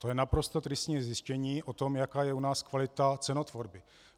To je naprosto tristní zjištění o tom, jaká je u nás kvalita cenotvorby.